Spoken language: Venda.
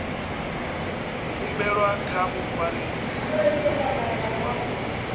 humbelwa kha mufarisa muofisiri wa